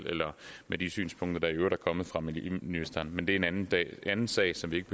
med de synspunkter der i øvrigt er kommet fra miljøministeren men det er en anden anden sag som vi ikke